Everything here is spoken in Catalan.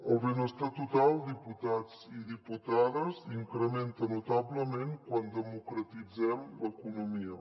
el benestar total diputats i diputades s’incrementa notablement quan democratitzem l’economia